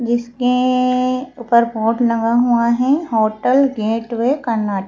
जिसके ऊपर बोर्ड लगा हुआ है होटल गेटवे करना--